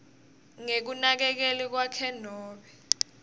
ngekunakekeli kwakhe nobe